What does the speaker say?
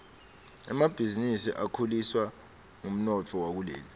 emabhizinisi akhuliswa ngumnotfo wakuleli